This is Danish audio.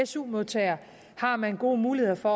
su modtager har man gode muligheder for